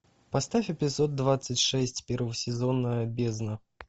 поставь эпизод двадцать шесть первого сезона бездна